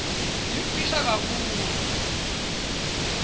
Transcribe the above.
yimfisha kakhulu